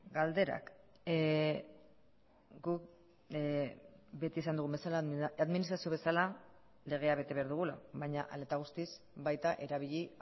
galderak guk beti esan dugun bezala administrazio bezala legea bete behar dugula baina hala eta guztiz baita erabili